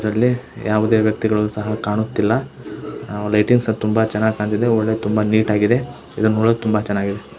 ಇದರಲ್ಲಿ ಯಾವುದೇ ವ್ಯಕ್ತಿಗಳು ಸಹ ಕಾಣುತ್ತಿಲ್ಲ ನಾವು ಲೈಟಿಂಗ್ಸ್ ತುಂಬಾ ಚೆನ್ನಾಗಿ ಕಾಂತಿದೆ ತುಂಬಾ ನೀಟ್ ಆಗಿ ಕಾಣಿಸ್ತಿದೆ ಇದನ್ ನೋಡಕ್ ತುಂಬಾ ಚೆನ್ನಾಗಿದೆ.